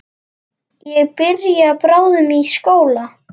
Ég byrja bráðum í skóla.